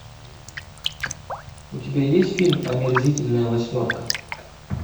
у тебя есть фильм омерзительная восьмерка